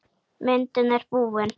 Myndin er búin.